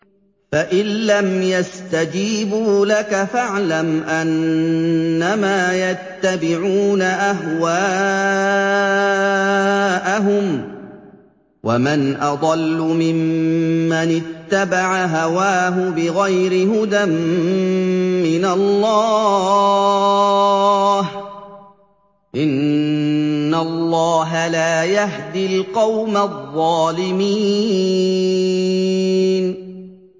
فَإِن لَّمْ يَسْتَجِيبُوا لَكَ فَاعْلَمْ أَنَّمَا يَتَّبِعُونَ أَهْوَاءَهُمْ ۚ وَمَنْ أَضَلُّ مِمَّنِ اتَّبَعَ هَوَاهُ بِغَيْرِ هُدًى مِّنَ اللَّهِ ۚ إِنَّ اللَّهَ لَا يَهْدِي الْقَوْمَ الظَّالِمِينَ